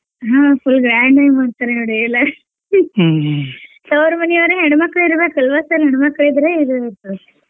ಹಾ full grand ಆಗಿ ಮಾಡ್ತಾರೆ ನೋಡಿ ಎಲ್ಲಾ ತೌರ್ ಮನಿಯವರೇ ಹೆಣ್ಮಕ್ಳ್ ಇರಬೇಕಲ್ವ sir ಹೆಣ್ಮಕ್ಳ್ ಇದ್ರೆ ಇದು ಇರ್ತದ.